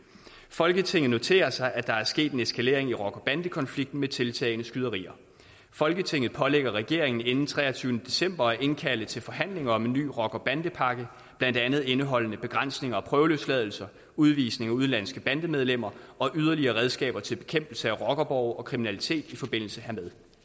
folketinget noterer sig at der er sket en eskalering i rocker bandekonflikten med tiltagende skyderier folketinget pålægger regeringen inden den treogtyvende december at indkalde til forhandlinger om en ny rocker bandepakke blandt andet indeholdende begrænsning af prøveløsladelser udvisning af udenlandske bandemedlemmer og yderligere redskaber til bekæmpelse af rockerborge og kriminalitet i forbindelse hermed